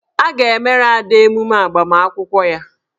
A ga-emere Ada emume agbamakwụkwọ ya.